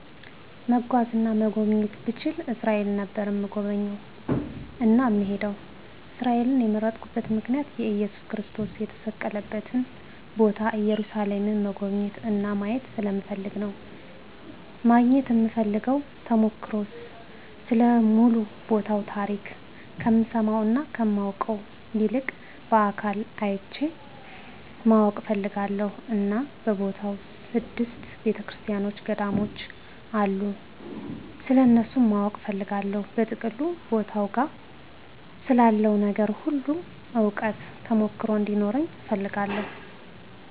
መጓዝ እና መጎብኘት ብችል እስራኤል ነበር እምጎበኝ እና እምሄደዉ። እስራኤልን የመረጥኩበት ምክንያት እየሱስ ክርስቶስ የተሰቀለበትን ቦታ ኢየሩሳሌምን መጎብኘት እና ማየት ስለምፈልግ ነዉ። ማግኘት እምፈልገዉ ተሞክሮ ስለ ሙሉ ቦታዉ ታሪክ ከምሰማዉ እና ከማነበዉ ይልቅ በአካል አይቸዉ ማወቅ እፈልጋለሁ እና በቦታዉ ስድስት ቤተክርሰቲያኖች ገዳሞች አሉ ስለነሱም ማወቅ እፈልጋለሁ። በጥቅሉ ቦታዉ ጋ ስላለዉ ነገር ሁሉ እዉቀት (ተሞክሮ ) እንዲኖረኝ እፈልጋለሁ።